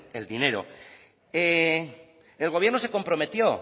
el dinero el gobierno se comprometió